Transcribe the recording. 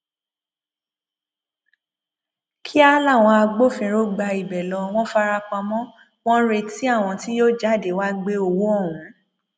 kíá làwọn agbófinró gba ibẹ lọ wọn fara pamọ wọn ń retí àwọn tí yóò jáde wàá gbé owó ọhún